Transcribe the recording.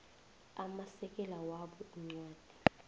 amasekela wabo incwadi